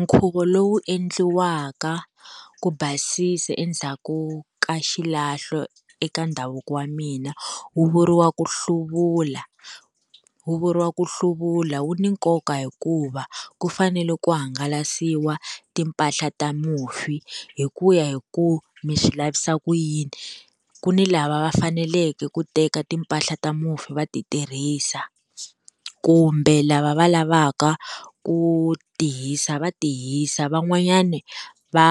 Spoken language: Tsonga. Nkhuvo lowu endliwaka ku basisa endzhaku ka xilahlo eka ndhavuko wa mina wu vuriwa ku hluvula wu vuriwa ku hluvula wu ni nkoka hikuva ku fanele ku hangalasiwa timpahla ta mufi hi ku ya hi ku mi swi lavisa ku yini ku ni lava va faneleke ku teka timpahla ta mufi va ti tirhisa kumbe lava va lavaka ku tihisa va tihisa van'wanyani va